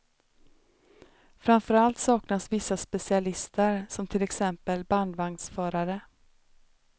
Framför allt saknas vissa specialister, som till exempel bandvagnsförare.